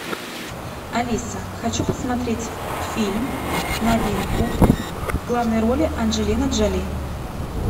алиса хочу посмотреть фильм новинку в главной роли анджелина джоли